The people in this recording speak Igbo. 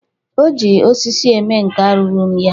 Oji osisi eme nka rụrụ m ya.